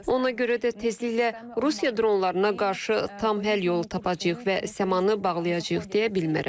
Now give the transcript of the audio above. Ona görə də tezliklə Rusiya dronlarına qarşı tam həll yolu tapacağıq və səmanı bağlayacağıq deyə bilmərəm.